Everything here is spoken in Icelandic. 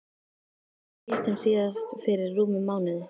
Við hittumst síðast fyrir rúmum mánuði.